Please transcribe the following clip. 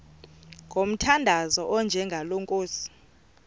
ngomthandazo onjengalo nkosi